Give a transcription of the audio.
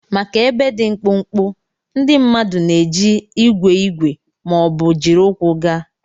Maka ebe dị mkpụmkpụ, ndị mmadụ na-eji igwe igwe ma ọ bụ jiri ụkwụ gaa.